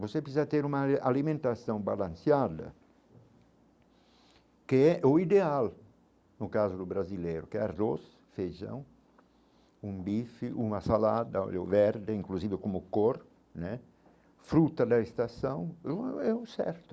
Você precisa ter uma a alimentação balanceada, que é o ideal, no caso do brasileiro, que é arroz, feijão, um bife, uma salada eu verde, inclusive eu como cor né, fruta da estação, é o, é o certo.